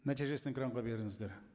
нәтижесін экранға беріңіздер